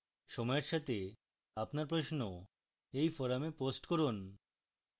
সময়ের সাথে আপনার প্রশ্ন এই forum post করুন